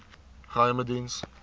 geheimediens